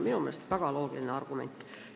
Minu meelest on see väga loogiline argument.